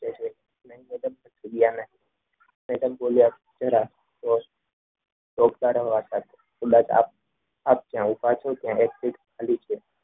madam બોલ્યા જરાક આપ જ્યાં ઉભા છો ત્યાં એક સીટ ખાલી છે